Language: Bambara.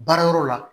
Baarayɔrɔ la